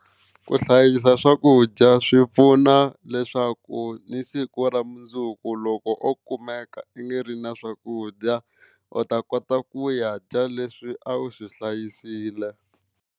Ku hlayisa swakudya swi pfuna leswaku ni siku ra mundzuku loko o kumeka a nga ri na swakudya u ta kota ku ya dya leswi a wu swi hlayisile.